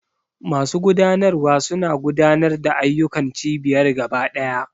Masu gudanarwa suna gudanar da ayyukan cibiyar gaba ɗaya.